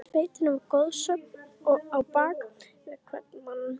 Í sveitinni var goðsögn á bak við hvern mann.